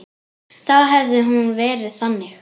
Þá hefði hún verið þannig: